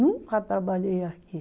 Nunca trabalhei aqui.